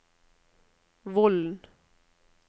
Vollen